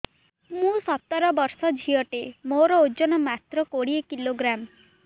ମୁଁ ସତର ବର୍ଷ ଝିଅ ଟେ ମୋର ଓଜନ ମାତ୍ର କୋଡ଼ିଏ କିଲୋଗ୍ରାମ